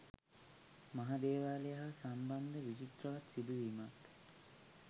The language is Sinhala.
මහා දේවාලය හා සම්බන්ධ විචිත්‍රවත් සිදුවීමත්